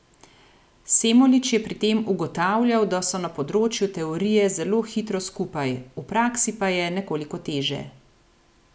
Semolič je pri tem ugotavljal, da so na področju teorije zelo hitro skupaj, v praksi pa je nekoliko teže.